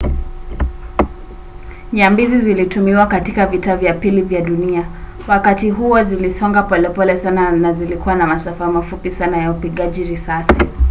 nyambizi zilitumiwa katika vita vya pili vya dunia. wakati huo zilisonga polepole sana na zilikuwa na masafa mafupi sana ya upigaji risasi